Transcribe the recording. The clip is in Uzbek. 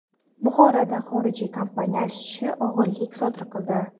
Buxoroda xorijiy kompaniya ishchisi o‘g‘rilik sodir qildi.